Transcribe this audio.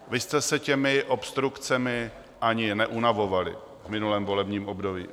Vy jste se těmi obstrukcemi ani neunavovali v minulém volebním období.